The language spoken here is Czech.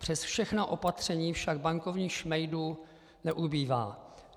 Přes všechna opatření však bankovních šmejdů neubývá.